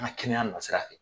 An ka kɛnɛya na sira fɛ.